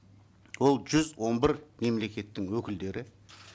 ол жүз он бір мемлекеттің өкілдері